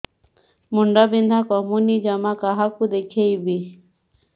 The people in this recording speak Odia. ମୁଣ୍ଡ ବିନ୍ଧା କମୁନି ଜମା କାହାକୁ ଦେଖେଇବି